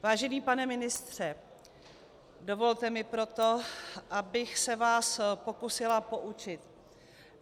Vážený pane ministře, dovolte mi proto, abych se vás pokusila poučit.